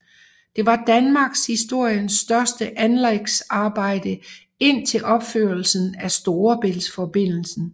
Det var Danmarkshistoriens største anlægsarbejde indtil opførelsen af Storebæltsforbindelsen